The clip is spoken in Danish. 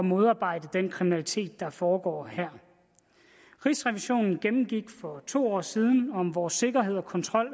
modarbejde den kriminalitet der foregår her rigsrevisionen gennemgik for to år siden vor sikkerhed og kontrol